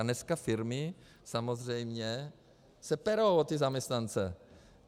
A dneska firmy samozřejmě se perou o ty zaměstnance.